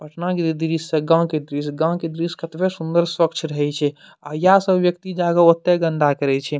पटना के दृश्य अ गाँव के दृश्य। गाँव के दृश्य केतना सुंदर स्वच्छ रहए छे आ या सब व्यक्ति जा के ओते गंदा करय छे।